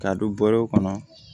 K'a don bulu kɔnɔ